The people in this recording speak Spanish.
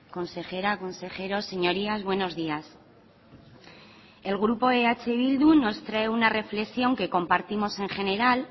consejera consejeros señorías buenos días el grupo eh bildu nos trae una reflexión que compartimos en general